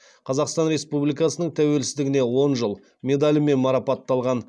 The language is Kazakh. қазақстан республикасының тәуелсіздігіне он жыл медалімен марапатталған